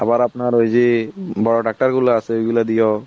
আবার আপনার ওই যে বড়ো ট্র্যাক্টর গুলা আছে ওই গুলা দিয়াও